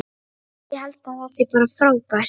Ég held að það sé bara frábært.